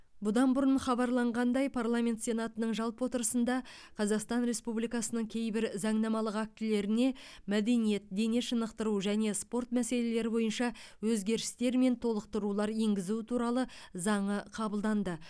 бұдан бұрын хабарланғандай парламент сенатының жалпы отырысында қазақстан республикасының кейбір заңнамалық актілеріне мәдениет дене шынықтыру және спорт мәселелері бойынша өзгерістер мен толықтырулар енгізу туралы заңы қабылданды